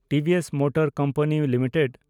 TVS motor company limited